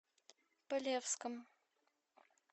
полевском